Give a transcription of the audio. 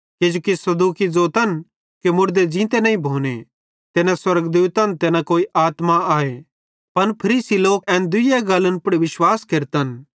किजोकि सदूकी ज़ोतन कि मुड़दे ज़ींते नईं भोने ते न स्वर्गदूतन ते न कोई आत्मा आए पन फरीसी लोक एन दुइये गल्लन पुड़ विश्वास केरतन